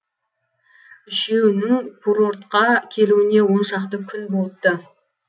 үшеуінің курортқа келуіне он шақты күн болыпты